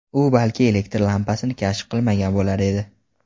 u balki elektr lampasini kashf qilmagan bo‘lar edi.